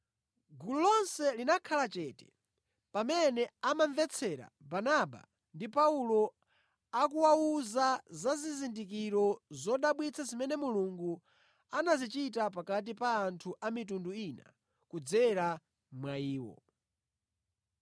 Gulu lonse linakhala chete pamene amamvetsera Barnaba ndi Paulo akuwawuza za zizindikiro zodabwitsa zimene Mulungu anazichita pakati pa anthu a mitundu ina kudzera mwa iwo.